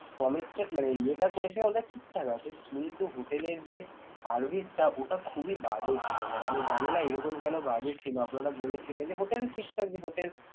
মানে ইয়ে~ টা ঠিকঠাক আছে কিন্তু হোটেল এর যে service টা ওটা খুবই বাজে ছিল মানে আমি জানিনা এরকম কেন বাজে ছিল আপনারা বলেছিলেন যে hotel ঠিক থাকবে hotel